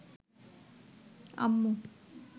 আম্মু